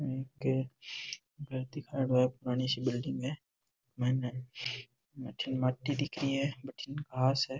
ये एक पुरानी सी बिल्डिंग है मायने बठीन माटी दिख री है बठीन घास है।